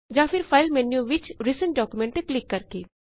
ਜਾਂ ਫੇਰ file menu ਵਿਚ ਰਿਸੈਂਟ ਡਾਕੂਮੈਂਟਸ ਤੇ ਕਲਿਕ ਕਰਕੇ